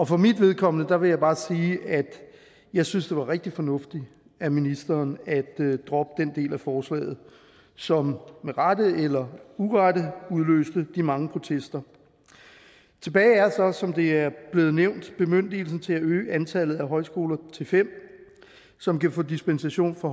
for mit vedkommende vil jeg bare sige at jeg synes det var rigtig fornuftigt af ministeren at droppe den del af forslaget som med rette eller urette udløste de mange protester tilbage er så som det er blevet nævnt bemyndigelsen til at øge antallet af højskoler til fem som kan få dispensation fra